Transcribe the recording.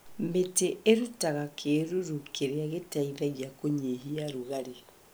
Mĩtĩ ĩrutaga kĩruru kĩrĩa gĩteithagia kũnyihia rugarĩ.